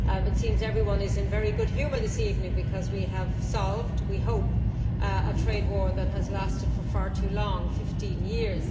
It seems that everyone is in very good humour this evening because we have solved, we hope, a trade war that has lasted for far too long 15 years.